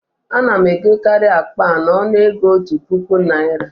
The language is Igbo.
A na m egokarị akpa a n'ọnụ ego òtù puku Naịra